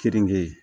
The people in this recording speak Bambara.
Keninge